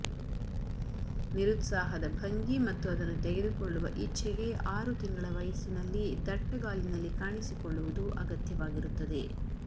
ನಿರುತ್ಸಾಹದ ಭಂಗಿ ಮತ್ತು ಅದನ್ನು ತೆಗೆದುಕೊಳ್ಳುವ ಇಚ್ಛೆಗೆ ಆರು ತಿಂಗಳ ವಯಸ್ಸಿನಲ್ಲಿ ದಟ್ಟಗಾಲಿನಲ್ಲಿ ಕಾಣಿಸಿಕೊಳ್ಳುವುದು ಅಗತ್ಯವಾಗಿರುತ್ತದೆ